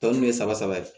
Tɔn ɲɛ saba saba de